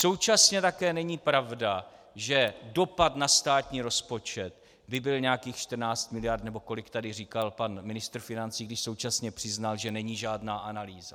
Současně také není pravda, že dopad na státní rozpočet by byl nějakých 14 mld., nebo kolik tady říkal pan ministr financí, když současně přiznal, že není žádná analýza.